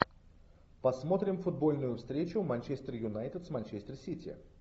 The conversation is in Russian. посмотрим футбольную встречу манчестер юнайтед с манчестер сити